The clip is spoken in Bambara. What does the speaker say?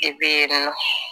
I bɛ yen nɔ